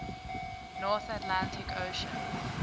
north atlantic ocean